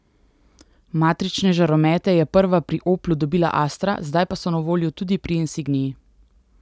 Matrične žaromete je prva pri Oplu dobila astra, zdaj pa so na voljo tudi pri insignii.